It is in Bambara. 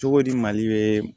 Cogodi mali bɛ